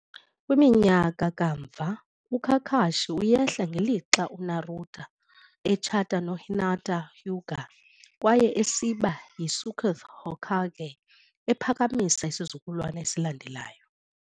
Kwiminyaka kamva, uKakashi uyehla ngelixa uNaruto etshata noHinata Hyuga kwaye esiba yiSeokth Hokage, ephakamisa isizukulwana esilandelayo.